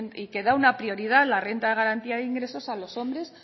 y que da una prioridad la renta de garantía de ingresos a los hombres